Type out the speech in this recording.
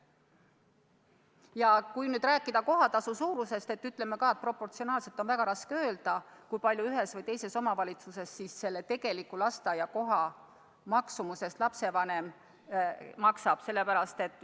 Ja kui veel rääkida kohatasu suurusest, siis ka proportsionaalselt on väga raske öelda, kui suure osa ühes või teises omavalitsuses tegelikust lasteaiakoha maksumusest lapsevanem maksab.